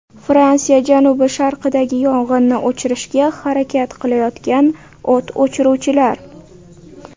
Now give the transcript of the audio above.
Fransiya janubi-sharqidagi yong‘inni o‘chirishga harakat qilayotgan o‘t o‘chiruvchilar.